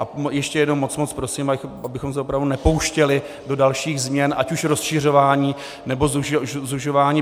A ještě jednou moc, moc prosím, abychom se opravdu nepouštěli do dalších změn, ať už rozšiřování, nebo zužování.